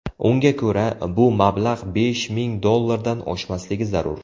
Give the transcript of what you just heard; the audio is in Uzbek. Unga ko‘ra, bu mablag‘ besh ming dollardan oshmasligi zarur.